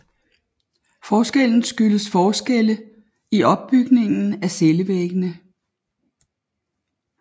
Forskellen skyldes forskelle i opbygningen af cellevæggene